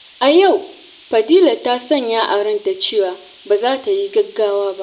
A yau, Fadila ta sanya a ranta cewa ba za ta yi gaggawa ba.